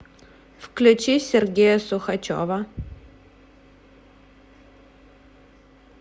включи сергея сухачева